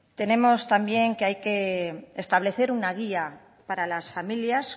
también tenemos que establecer una guía para las familias